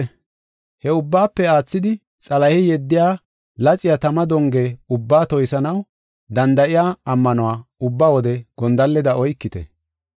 He ubbaafe aathidi, Xalahey yeddiya laxiya tama donge ubbaa toysanaw danda7iya ammanuwa ubba wode gondalleda oykite.